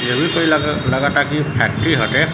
ये भी कोई लागत कोई फेक्टरी बाँटें।